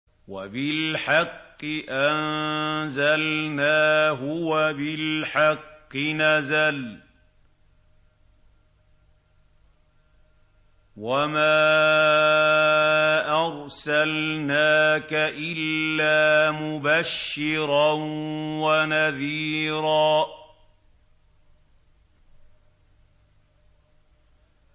وَبِالْحَقِّ أَنزَلْنَاهُ وَبِالْحَقِّ نَزَلَ ۗ وَمَا أَرْسَلْنَاكَ إِلَّا مُبَشِّرًا وَنَذِيرًا